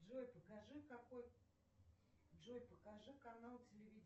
джой покажи какой джой покажи канал телевидения